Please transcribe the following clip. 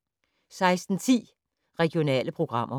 16:10: Regionale programmer